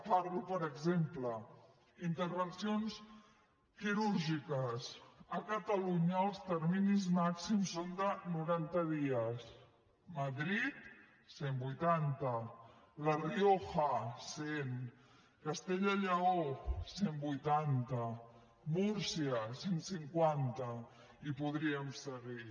parlo per exemple intervencions quirúrgiques a catalunya els terminis màxims són de noranta dies madrid cent i vuitanta la rioja cent castella i lleó cent i vuitanta múrcia cent i cinquanta i podríem seguir